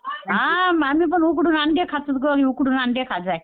हां आम्ही पण उकडून अंडे खातो गं आज उकडून अंडे खाल्लो